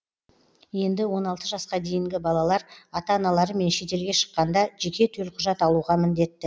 енді он алты жасқа дейінгі балалар ата аналарымен шетелге шыққанда жеке төлқұжат алуға міндетті